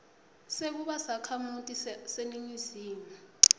sekuba sakhamuti saseningizimu